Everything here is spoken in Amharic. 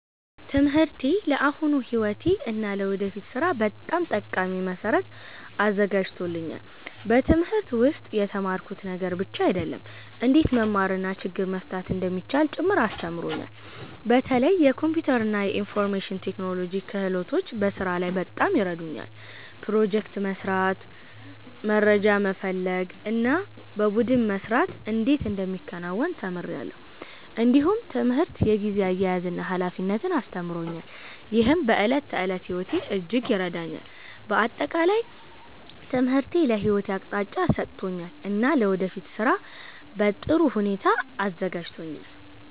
ትምህርቴ ለአሁኑ ሕይወቴ እና ለወደፊት ሥራ በጣም ጠቃሚ መሠረት አዘጋጅቶኛል። በትምህርት ውስጥ የተማርኩት ነገር ብቻ አይደለም፣ እንዴት መማር እና ችግር መፍታት እንደሚቻል ጭምር አስተምሮኛል። በተለይ የኮምፒውተር እና የኢንፎርሜሽን ቴክኖሎጂ ክህሎቶች በስራ ላይ በጣም ይረዱኛል። ፕሮጀክት መስራት፣ መረጃ መፈለግ እና በቡድን መስራት እንዴት እንደሚከናወን ተምሬአለሁ። እንዲሁም ትምህርት የጊዜ አያያዝን እና ኃላፊነትን አስተምሮኛል፣ ይህም በዕለት ተዕለት ሕይወቴ እጅግ ይረዳኛል። በአጠቃላይ ትምህርቴ ለሕይወቴ አቅጣጫ ሰጥቶኛል እና ለወደፊት ሥራ በጥሩ ሁኔታ አዘጋጅቶኛል።